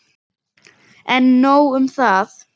En nóg um það.